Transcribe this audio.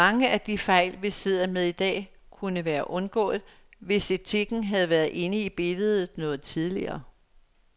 Mange af de fejl, vi sidder med i dag, kunne være undgået, hvis etikken havde været inde i billedet noget tidligere.